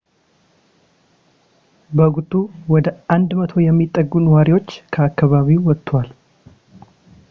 በወቅቱ ወደ 100 የሚጠጉ ነዋሪዎች ከአከባቢው ወጥተዋል